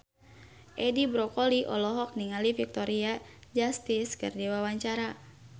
Edi Brokoli olohok ningali Victoria Justice keur diwawancara